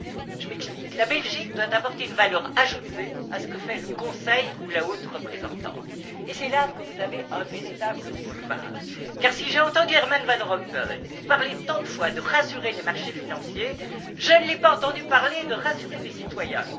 Je m'explique la Belgique doit apporter une valeur ajoutée à ce que fait le Conseil ou la haute représentante. C'est là que vous avez un véritable boulevard car, si j'ai entendu Herman Van Rompuy parler, à maintes reprises, de rassurer les marchés financiers, je ne l'ai pas entendu parler de rassurer les citoyens.